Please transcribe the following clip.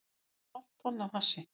Fundu hálft tonn af hassi